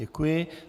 Děkuji.